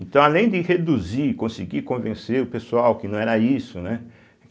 Então, além de reduzir, conseguir convencer o pessoal que não era isso, né?